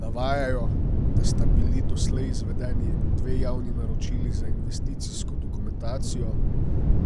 Navajajo, da sta bili doslej izvedeni dve javni naročili za investicijsko dokumentacijo,